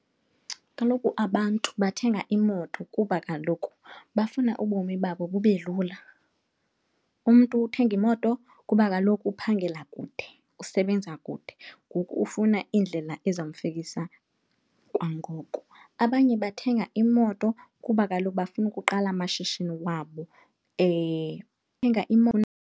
Kaloku abantu bathenga imoto kuba kaloku bafuna ubomi babo bube lula. Umntu uthenga imoto kuba kaloku uphangela kude, usebenza kude ngoku ufuna indlela ezawumfikisa kwangoko. Abanye bathenga imoto kuba kaloku bafuna ukuqala amashishini wabo .